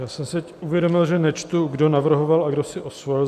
Já jsem si uvědomil, že nečtu, kdo navrhoval a kdo si osvojil.